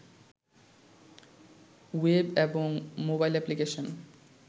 web এবং mobile application